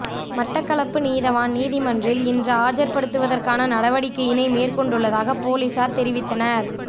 மட்டக்களப்பு நீதவான் நீதிமன்றில் இன்று ஆஜர் படுத்துவதற்கான நடவடிக்கையினை மேற்கொண்டுள்ளதாக பொலிசார் தெரிவித்தனர்